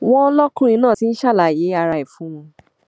wọn lọkùnrin náà ti ń ṣàlàyé ara ẹ fún wọn